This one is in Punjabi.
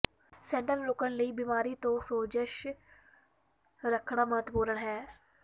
ਸੱਟਾਂ ਨੂੰ ਰੋਕਣ ਲਈ ਬਿਮਾਰੀ ਤੋਂ ਸੋਜਸ਼ ਰੱਖਣਾ ਮਹੱਤਵਪੂਰਣ ਹੈ